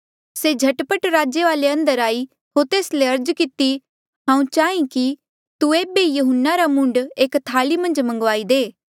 से झट पट राजे वाले अंदर आई होर तेस ले अर्ज किती हांऊँ चाहीं कि तू एेबे ई यहून्ना रा मूंड एक थाली मन्झ मंगवाई दे